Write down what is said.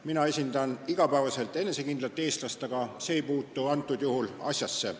Mina esindan igapäevaselt enesekindlat eestlast, aga see ei puutu antud juhul asjasse.